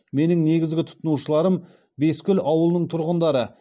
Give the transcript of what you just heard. менің негізгі тұтынушыларым бескөл ауылының тұрғындары